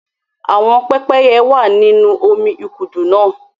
Àwọn pépéye wa nínú omí ikudu náa.